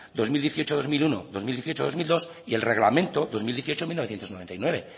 dos mil dieciocho dos mil uno dos mil dieciocho dos mil dos y el reglamento dos mil dieciocho mil novecientos noventa y nueve